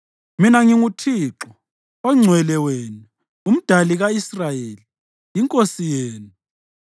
Mina nginguThixo, oNgcwele wenu, uMdali ka-Israyeli, iNkosi yenu.”